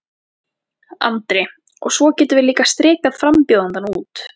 Andri: Og svo getum við líka strikað frambjóðandann út?